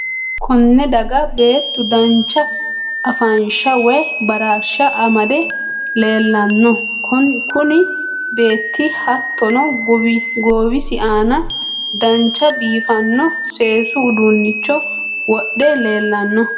Konne daga beetu dancha afansha woy bararsha amde leelanno kunu beetii hattono goowisi aana dancha biifnino seesu uduunicho wodhe leelanno